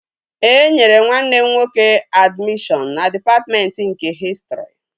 E nyere nwanne m nwoke admishọn na dịpatmentị nke hịstrị